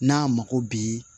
N'a mako bi